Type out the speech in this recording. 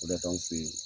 O de y' anw fe ye